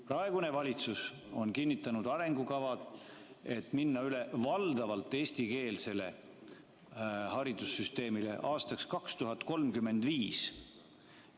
Praegune valitsus on kinnitanud arengukava, mille järgi minnakse valdavalt eestikeelsele haridussüsteemile üle aastaks 2035.